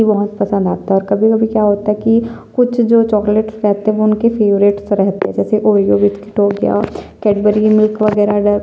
ये बहुत पसंद आता हैं और कभी-कभी क्या होता है कि कुछ जो चॉकलेट खाते हैं उनके फेवरेट से रहते हैं जैसे ऑरिओ बिस्किट हो गया कैडबरी मिल्क वगैरह--